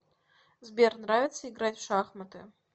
сбер нравится играть в шахматы